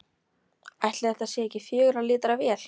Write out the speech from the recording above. Ætli þetta sé ekki fjögurra lítra vél?